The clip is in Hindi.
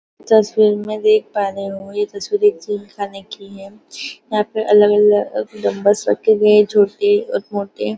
तस्वीर में देख पा रहे होगे यह तस्वीर एक जिम खाने की है यहाँ पे अलग अलग डम्बलस रखे हुए है छोटे और मोटे।